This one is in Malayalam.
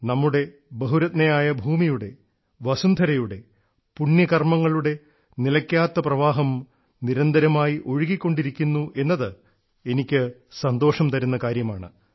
നമ്മുടെ ബഹുരത്നയായ ഭൂമിയുടെ വസുന്ധരയുടെ പുണ്യ കർമ്മങ്ങളുടെ നിലക്കാത്ത പ്രവാഹം നിരന്തരമായി ഒഴുകിക്കൊണ്ടിരിക്കുന്നു എന്നത് എനിക്ക് സന്തോഷം തരുന്ന കാര്യമാണ്